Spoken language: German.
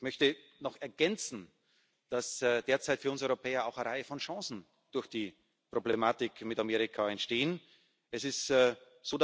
Ich möchte noch ergänzen, dass derzeit für uns Europäer durch die Problematik mit Amerika auch eine Reihe von Chancen entstehen.